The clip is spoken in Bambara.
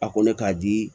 A ko ne k'a di